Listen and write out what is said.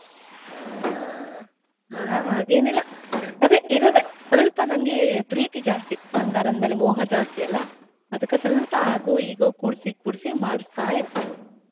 ಹಾ. ಹಾ~ ಹಾಗೇನಿಲ್ಲಾ ಅದೇ ಇರೋದೆ, ಸ್ವಲ್ಪ ನಂಗೆ ಪ್ರೀತಿ ಜಾಸ್ತಿ ಬಂಗಾರ ಅಂದ್ಮೇಲೆ ಮೋಹ ಜಾಸ್ತಿಯಲಾ, ಅದ್ಕ ಸ್ವಲ್ಪ ಆಗೋ ಈಗೋ ಕೂಡ್ಸಿ ಕೂಡ್ಸಿ ಮಾಡಸ್ತಾ ಇರ್ತೀನಿ.